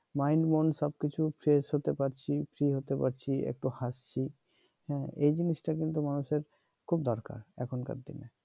mind মন সব কিছু ফ্রেশ হতে পারছি ফ্রি হতে পারছি একটু হাসছি হ্যাঁ এই জিনিস টা কিন্তু মানুষের খুব দরকার এখনকার দিনে